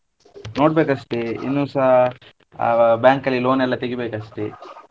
ನೋಡ್ಬೇಕ್ ಅಷ್ಟೇ , ಇನ್ನುಸ ಆ bank ಅಲ್ಲಿ loan ಎಲ್ಲ ತೆಗಿಬೇಕ್ ಅಷ್ಟೆ.